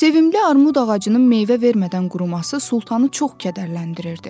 Sevimli armud ağacının meyvə vermədən quruması Sultanı çox kədərləndirirdi.